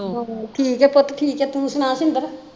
ਠੀਕ ਐ ਪੁੱਤ ਠੀਕ ਤੂੰ ਸੁਣਾ ਸ਼ਿੰਦਰ